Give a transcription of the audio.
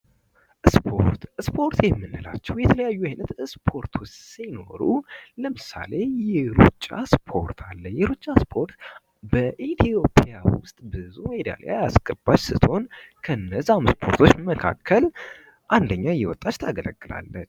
ስፖርት:- ስፖርት የምንላቸዉ የተለያዩ አይነት ስፖርቶች ሲኖሩ ለምሳሌ:- የሩጫ ስፖርት አለ። የሩጫ ስፖርት በኢትዮጵያ ዉስጥ ብዙ ሜዳሊያ ያስገባች ስትሆን ከእነዚያ ስፖርቶች መካከል አንደኛ እየወጣች ታገለግላለች።